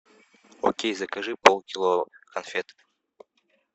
окей закажи полкило конфет